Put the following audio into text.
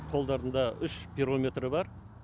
қолдарында үш пирометр бар